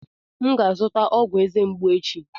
M ga-azụta ọgwụ eze mgbu m echi.